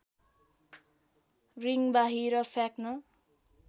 ring बाहिर फ्याँक्न